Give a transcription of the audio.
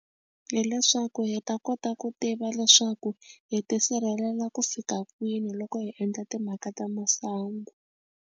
Hi leswaku hi ta kota ku tiva leswaku hi tisirhelela ku fika kwini loko hi endla timhaka ta masangu.